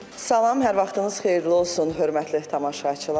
Salam, hər vaxtınız xeyirli olsun, hörmətli tamaşaçılar.